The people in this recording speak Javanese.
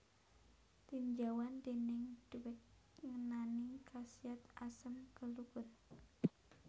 Tinjauan déning Dweck ngenani khasiat asem gelugur